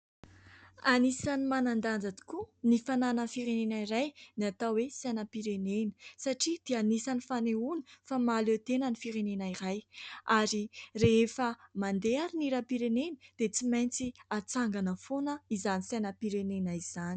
Anisany manan-danja tokoa ny fananan'ny firenena iray ny atao hoe sainam-pirenena satria dia anisany fanehoana fa mahaleo tena ny firenena iray ary rehefa mandeha ary ny hiram-pirenena dia tsy maintsy hatsangana foana izany sainam-pirenena izany.